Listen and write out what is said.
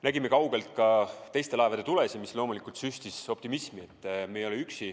Nägime kaugelt ka teiste laevade tulesid, mis loomulikult süstis optimismi, et me ei ole üksi.